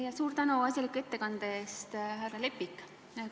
Ja suur tänu asjaliku ettekande eest, härra Lepik!